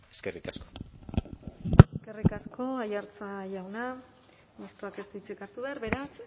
eskerrik asko eskerrik asko aiartza jauna mistoak ez du hitzik hartu behar beraz